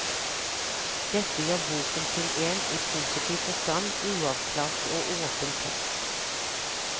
Dette gjør boken til en, i positiv forstand, uavklart og åpen tekst.